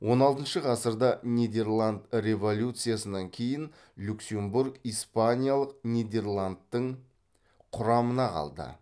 он алтыншы ғасырда нидерланд революциясынан кейін люксембург испаниялық нидерландтың құрамына қалды